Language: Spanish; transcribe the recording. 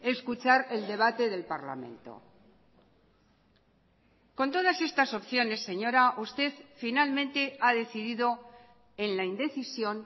escuchar el debate del parlamento con todas estas opciones señora usted finalmente ha decidido en la indecisión